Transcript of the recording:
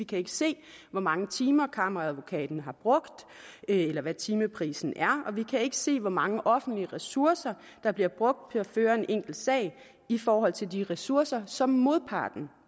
kan se hvor mange timer kammeradvokaten har brugt eller hvad timeprisen er og vi kan ikke se hvor mange offentlige ressourcer der bliver brugt til at føre en enkelt sag i forhold til de ressourcer som modparten